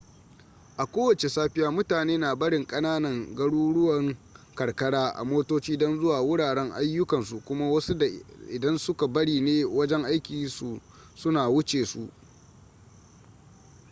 a kowace safiya mutane na barin ƙananan garuruwan karkara a motoci don zuwa wuraren ayyukan su kuma wasu da idan suka bari ne wajen aikin su na wuce su